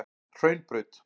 Hraunbraut